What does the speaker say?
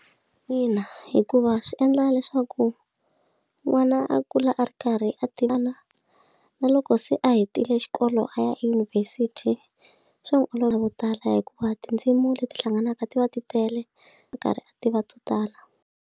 Ina hikuva swi endla leswaku n'wana a kula a ri karhi a tivana na loko se a hetile xikolo a ya edyunivhesiti swa n'wi olovela vo tala hikuva tindzimi leti hlanganaka ti va ti tele a karhi a tiva to tala.